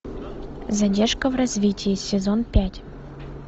задержка в развитии сезон пять